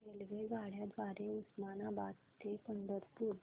रेल्वेगाड्यां द्वारे उस्मानाबाद ते पंढरपूर